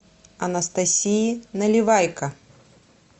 анастасии наливайко